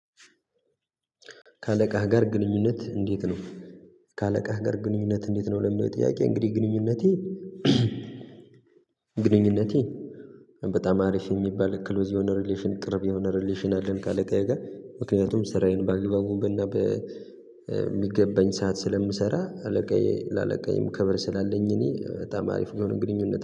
ከአለቃህ ጋር ግንኙነት እንዴት ነው? ከአለቃህ ጋር ግንኙነትህ እንዴት ነው? ለመጥያቄ እንግዲህ ግንኙነቴ ግንኙነቴ በጣም አሪፍ የሚባል ክሎዝ የሆነ ሪሌሽን ቅርብ የሆነ ሪሌሽን አለን። ከአለቃዬ ጋር ምክንያቱም ስራዬን ባግባቡና በሚገባኝ ሰዓት ስለምሰራ አለቃዬ ለአለቃዬ ክበር ስላለኝ እኔ በጣም አሪፍ የሆነ ግንኙነት